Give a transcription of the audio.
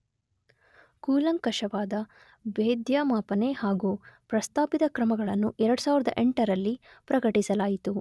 ಕೂಲಂಕಷವಾದ ಭೇದ್ಯ ಮಾಪನೆ ಹಾಗೂ ಪ್ರಸ್ತಾಪಿತ ಕ್ರಮಗಳನ್ನು 2008ರಲ್ಲಿ ಪ್ರಕಟಿಸಲಾಯಿತು.